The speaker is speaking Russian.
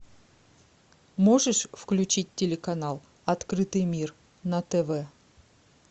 можешь включить телеканал открытый мир на тв